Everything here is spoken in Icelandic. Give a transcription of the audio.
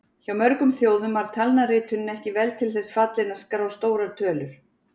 Hjá mörgum þjóðum var talnaritunin ekki vel til þess fallin að skrá stórar tölur.